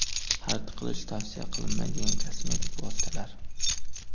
Xarid qilish tavsiya qilinmaydigan kosmetik vositalar.